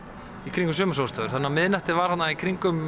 kringum sumarsólstöður þannig að miðnætti var þarna kringum